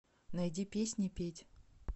найди песни петь